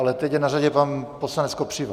Ale teď je na řadě pan poslanec Kopřiva.